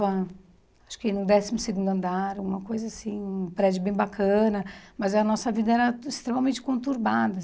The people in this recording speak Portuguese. acho que no décimo segundo andar, alguma coisa assim, um prédio bem bacana, mas a nossa vida era extremamente conturbada.